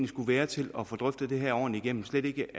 skulle være til at få drøftet det her ordentligt igennem slet ikke